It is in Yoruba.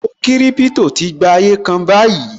Owó kiripito tí gba ayé kan báyìí